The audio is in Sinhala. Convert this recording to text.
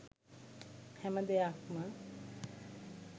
හැම දෙයක්ම